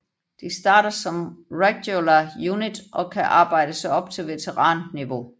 De starter som regular unit og kan arbejde sig op til veteranniveau